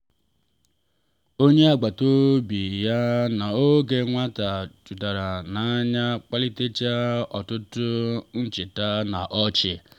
onye agbata obi ya n’oge nwata pụtara n’anya kpalitecheta ọtụtụ ncheta na ọchị.